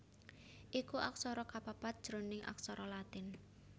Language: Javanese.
iku aksara kapapat jroning aksara Latin